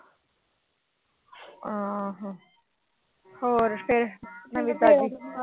ਹੋਰ ਫਿਰ ਨਵੀਂ ਤਾਜੀ।